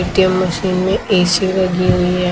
ATM machine में AC लगी हुई है।